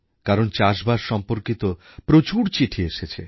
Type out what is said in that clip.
কারণ চাষবাস সম্পর্কিত প্রচুর চিঠি এসেছে